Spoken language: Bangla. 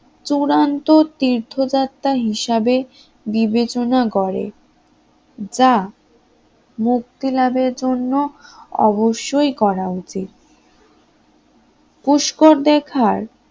চূড়ান্ত তীর্থযাত্রা হিসাবে বিবেচনা করে, যা মুক্তি লাভের জন্য অবশ্যই করা উচিত পুষ্কর দেখার